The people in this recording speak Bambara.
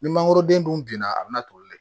Ni mangoroden dun binna a bɛ na toli dɛ